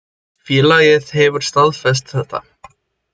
Félagið hefur staðfest þetta.